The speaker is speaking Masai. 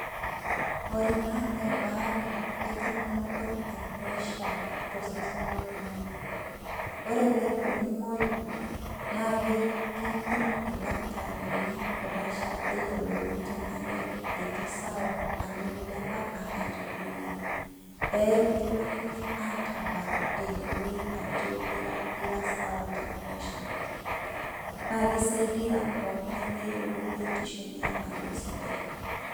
Ore ena nebaare wenkipimoto e pressure tosesen loltung'ani. Ore pelo nimoyu, na kekimpim ildakitarini pressure peyiolouni tenaa ketii sawa, tenaa ilepa, anaa etadoyie. Ekitilakini atabak, eyioloi ajo ira sawa te pressure. Na kisaidia pooking'ae peyiolou biotisho enye ajo sidai.